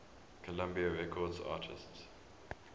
columbia records artists